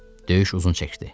Döyüş uzun çəkdi.